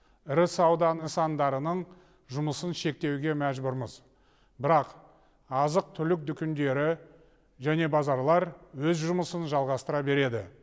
ірі сауда нысандарының жұмысын шектеуге мәжбүрміз бірақ азық түлік дүкендері және базарлар өз жұмысын жалғастыра береді